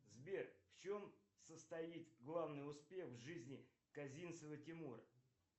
сбер в чем состоит главный успех в жизни казинцева тимура